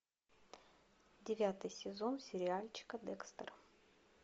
девятый сезон сериальчика декстер